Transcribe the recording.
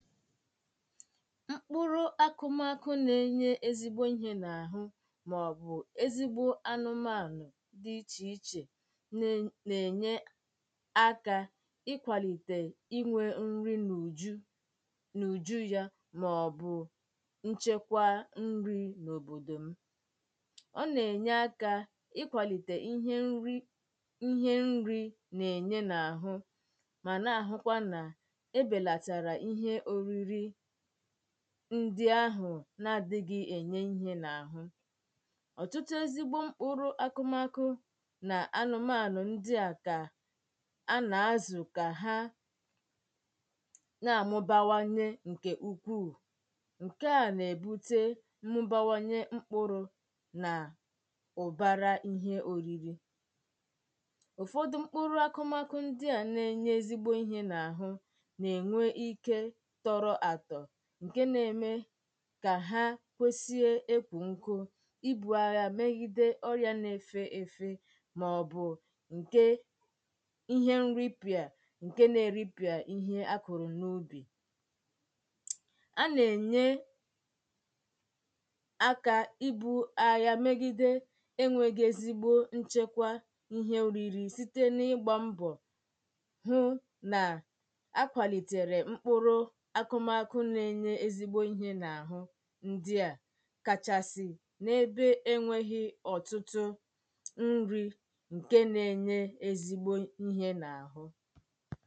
mkpụrụ akụmakụ na-enye ezigbo ihē n’àhụ màọbụ̀ ezigbo anụmanụ̀ dì ichèichè nà-ènye akā ịkwàlìtè inwē nri n’ùju n’ùjú yá màọ́bụ̀ ńchékwá ńrí n’òbòdò m ọ nà-ènye aka ị́kwàlìtè ihe nrī nà-ènye n’àhụ mà nà-àhụkwa na-ebèlàtàrà ihe òriri ndi ahụ̀ na-adị̄ghị̄ ènye íhe n’àhụ ọ̀tụtụ ezigbo mkpụrụ akụmakụ nà anụmanụ̀ ndi à ka à nà-azụ̀ ka ha na-amụbawanye ǹkè ukwuu ǹkè a nà-èbute mmụbawanye mkpụrụ̄ nà ụ̀bara ihe òriri ụ̀fọdụ mkpụrụ akụmakụ na-enye ezigbo ihē n’àhụ nà-ènwe ike tọrọ atọ̀ ǹkè na-eme ka ha kwesìe ekwù nkụ ibū agha megide ọrịà na-efeefe màọbụ̀ ǹkè ihe nripịà ǹkè na-eripịà ihe akụ̀rụ̀ n’ubì a nà-ènye akā i bū agha megide enwēghī ezigbo nchekwa íhe òriri site n’igbā mbọ̀ hụ nà-akwàlìtèrè mkpụrụ akụmakụ nà-enyē ihe n’àhụ ńdíà kàchàsị̀ n’ébé énwēghī ọ̀tụtụ ńrī ǹkè na-enyè ezigbo ihē n’àhụ